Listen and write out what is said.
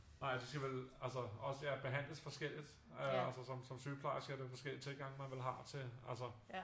Nej og det skal vel øh altså også ja behandles forskelligt øh altså som sygeplejerskerne med forskellige tilgange man vel har til altså